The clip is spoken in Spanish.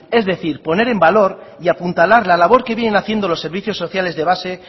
es decir poner en valor y apuntalar la labor que vienen haciendo los servicios sociales de base